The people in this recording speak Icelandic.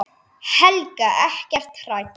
Helga: Ekkert hrædd?